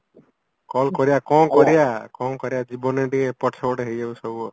call କରିବା କଣ କରିବା କଣ କରିବା ଜୀବନରେ ଟିକେ ଏପଟ ସେପଟ ହେଇଯାଉଚି ସବୁ ଆଉ